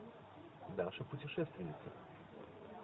даша путешественница